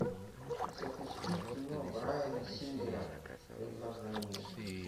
запусти кино брайана сингера предложение